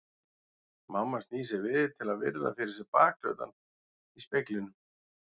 Mamma snýr sér við til að virða fyrir sér bakhlutann í speglinum.